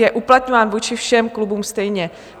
Je uplatňován vůči všem klubům stejně.